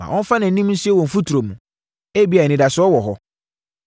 Ma ɔmfa nʼanim nsie wɔ mfuturo mu, ebia anidasoɔ wɔ hɔ.